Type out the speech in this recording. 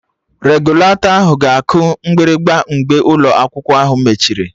Regụlatọ ahụ ga-aku mgbịrịgba mgbe ụlọ akwụkwọ mechiri